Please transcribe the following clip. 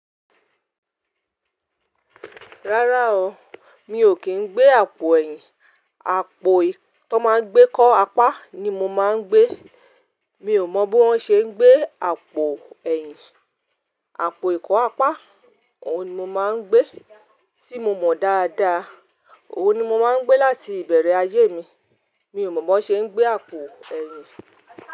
Rárá o, mi ò kí ń gbé àpò ẹ̀yìn. Àpò ti wọn máa ń gbé kó apá ni mo máa ń gbé. Mi ò mọ bí wón ṣe ń gbé àpò ẹ̀yìn. Àpò ìkọ́ apá ni mo máa ń gbé, tí mo mọ dáadáa. Òun ni mo máa ń gbé láti ìbẹ̀rẹ̀ ayé mi. Mi ò mọ̀ bi wọn ṣe ń gbé àpò ẹ̀yìn.